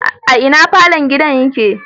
A ina falon gidan yake?